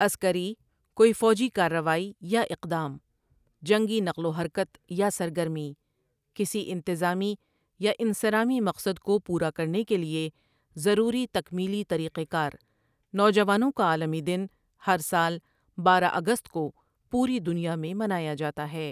عسکری کوئی فوجی کارروائی یا اقدام، جنگی نقل و حرکت یا سرگرمی، کسی انتظامی یا انصرامی مقصد کو پورا کرنے کے لیے ضروری تکمیلی طریق کار نوجوانوں کا عالمی دن ہر سال بارہ اگست کو پوری دنیا میں منایا جاتاہے ۔